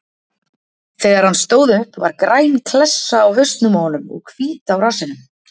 Þegar hann stóð upp var græn klessa á hausnum á honum og hvít á rassinum.